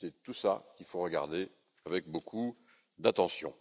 C'est tout ça qu'il faut regarder avec beaucoup d'attention.